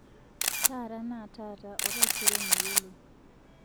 taata naa taata oretaisere meyioloi